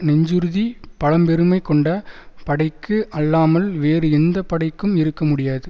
நெஞ்சுறுதி பழம்பெருமை கொண்ட படைக்கு அல்லாமல் வேறு எந்த படைக்கும் இருக்க முடியாது